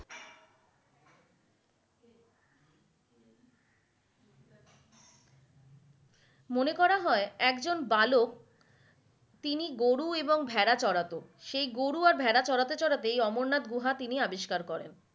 মনে করা হয় একজন বালক তিনি গরু এবং ভাঁড়া চড়াতো সেই গরু এবং ভাঁড়া চড়াতে চড়াতে এই অমরনাথ গুহা তিনি আবিষ্কার করেন।